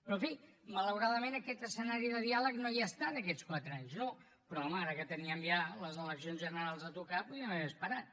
però en fi malauradament aquest escenari de diàleg no hi ha estat aquests quatre anys no però home ara que teníem ja les eleccions generals a tocar podríem haver esperat